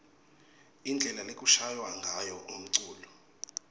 indlela lekushaywa ngayo umculo